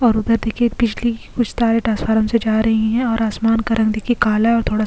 और उधर देखिये बिजली की कुछ तारे से जा रही है और आसमान का रंग देखिए काला और थोड़ा --